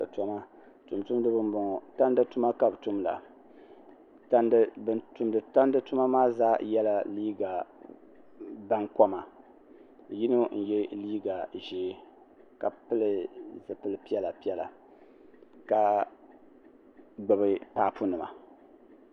tumtumdiba n boŋo tandi tuma ka bi tumda bin tumdi tuma maa zaa yɛla liiga baŋkoma yino n yɛ liiga ʒiɛ ka pili zipili piɛla piɛla ka gbubi paapu nima